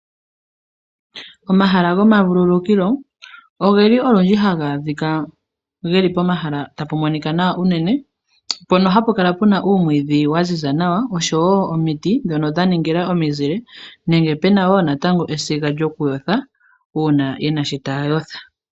Omahala goma vululukilo ogeli olundji haga adhika geli pomahala tapu monika nawa unene mpono hapu kala puna uumwidhi waziza nawa, oshowo omiti dhono dha ningila omizile nenge pena wo natango esiga lyoku yotha una yena sho taya yotha.